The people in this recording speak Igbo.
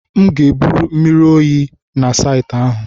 M ga-ebu mmiri oyi na saịtị ahụ.